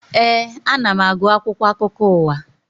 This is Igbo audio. Éè, ana m agụ akwụkwọ akụkọ ụwa